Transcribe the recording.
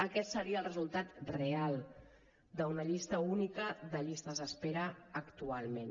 aquest seria el resultat real d’una llista única de llistes d’espera actualment